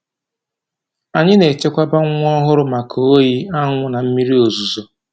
Anyị na-echekwaba nwa ohụrụ maka oyi, anwụ na mmiri ozuzo